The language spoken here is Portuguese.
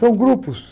São grupos.